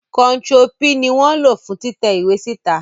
Kontiro P ni wọn lo fun titẹ iwe sita